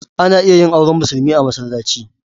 Ana iya yin auren musulmi a masallaci.